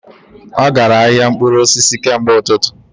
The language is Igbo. Ọ gara ahịa mkpụrụ osisi kemgbe ụtụtụ